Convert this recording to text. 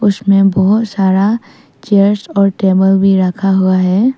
उसमें बहौत सारा चेयर्स और टेबल भी रखा हुआ है।